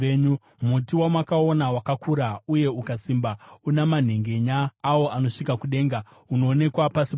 Muti wamakaona, wakakura uye ukasimba, una manhengenya awo anosvika kudenga, unoonekwa pasi pose,